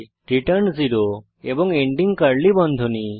return 0 এবং ending curly বন্ধনী